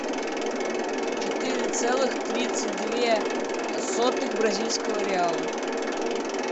четыре целых тридцать две сотых бразильского реала